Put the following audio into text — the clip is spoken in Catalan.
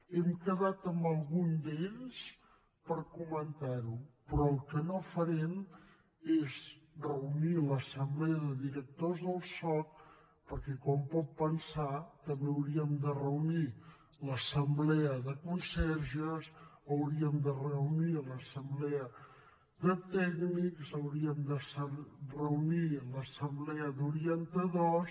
hem quedat amb algun d’ells per comentar ho però el que no farem és reunir l’assemblea de directors del soc perquè com pot pensar també hauríem de reunir l’assemblea de conserges hauríem de reunir l’assemblea de tècnics hauríem de reunir l’assemblea d’orientadors